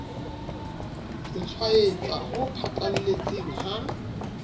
ho tshwaetsa ho phatlalletseng ha